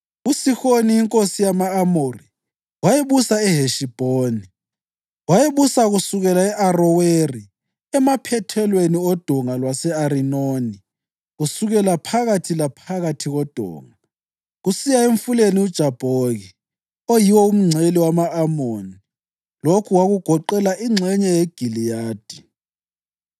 USihoni inkosi yama-Amori, wayebusa eHeshibhoni. Wayebusa kusukela e-Aroweri emaphethelweni oDonga lwase-Arinoni, kusukela phakathi laphakathi kodonga kusiyafika emfuleni uJabhoki, oyiwo umngcele wama-Amoni. Lokhu kwakugoqela ingxenye yeGiliyadi.